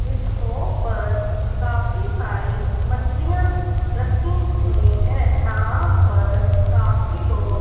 इस शॉप पर काफी सारी मछलियां रखी हुई हैं यहां पर काफी लोग--